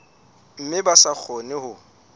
mme ba sa kgone ho